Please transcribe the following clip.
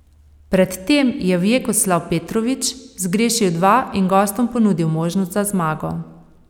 Pred tem je Vjekoslav Petrović zgrešil dva in gostom ponudil možnost za zmago.